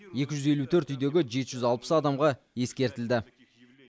екі жүз елу төрт үйдегі жеті жүз алпыс адамға ескертілді